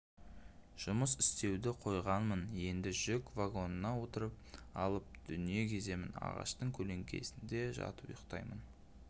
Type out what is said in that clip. жұмыс істеуді қойғанмын енді жүк вагонына отырып алып дүние кеземін ағаштың көлеңкесінде жатып ұйықтаймын